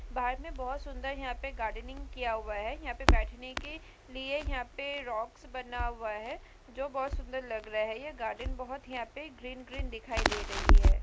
बाग मे बोहत सुन्दर यहाँ पे गार्डनिंग किआ हुआ है यहाँ पे बैठने के लिए यहाँ पे रॉक्स बना हुआ है जो बोहत सुन्दर लग रहा है यह गार्डन बोहत यहाँ पे ग्रीन ग्रीन दिखाई दे रही है।